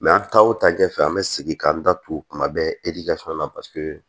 an taa o ta ɲɛfɛ an bɛ segin k'an da tu kuma bɛɛ na paseke